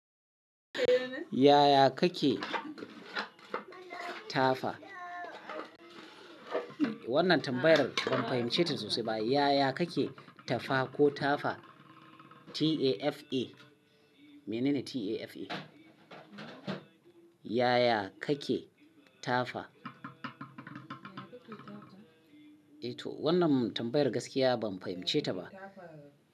Yaya kake tafa? Wannan tambayar ban fahimce ta sosai ba. Yaya kake tafa ko tafa? T A F A. Menene T A F A? Yaya kake tafa? Wannan tambayar gaskiya ban fahimce ta ba.